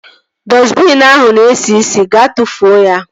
Dọstbiin ahụ na esi isi. Gaa tụfuo ya!